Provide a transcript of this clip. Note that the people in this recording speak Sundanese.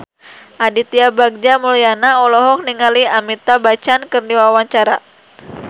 Aditya Bagja Mulyana olohok ningali Amitabh Bachchan keur diwawancara